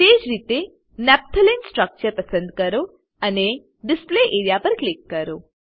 તેજ રીતે નફ્તાલેને સ્ટ્રક્ચર પસંદ કરો અને ડિસ્પ્લે એરિયા પર ક્લિક કરો